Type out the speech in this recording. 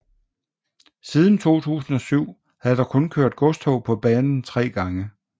Siden 2007 havde der kun kørt godstog på banen 3 gange